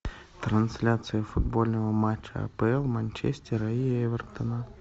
трансляция футбольного матча апл манчестера и эвертона